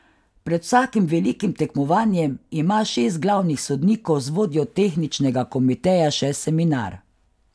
Pred vsakim velikim tekmovanjem ima šest glavnih sodnikov z vodjo tehničnega komiteja še seminar.